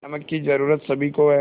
नमक की ज़रूरत सभी को है